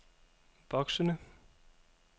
voksende